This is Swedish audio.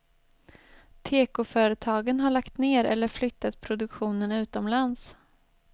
Tekoföretagen har lagt ner eller flyttat produktionen utomlands.